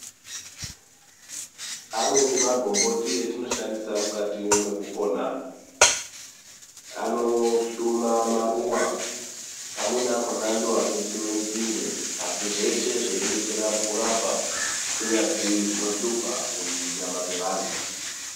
Amweni magomboti atinoshashandisa mukati Mekupona anohluma maruwa amweni akona ndiwo anotsiwa nzinde asi zveshe zveidetsera mukurapa kunyazi zvinohlupa kunyanya dzevantu.